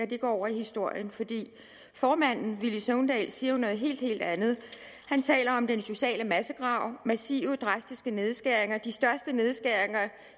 det går over i historien for formanden herre villy søvndal siger jo noget helt helt andet han taler om den sociale massegrav massive drastiske nedskæringer de største nedskæringer